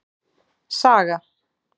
Saga